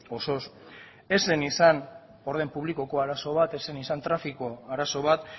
osoz ez zen izan orden publikoko arazo bat ez zen izan trafiko arazo bat